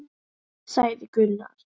sagði Gunnar.